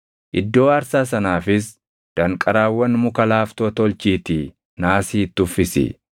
Iddoo aarsaa sanaafis danqaraawwan muka laaftoo tolchiitii naasii itti uffisi.